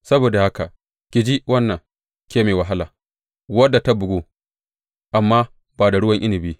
Saboda haka ki ji wannan, ke mai wahala, wadda ta bugu, amma ba da ruwan inabi.